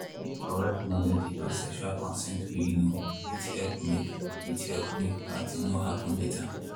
correct knowledge about sexual consent way you know fit help make fit help make bad thing no happen later.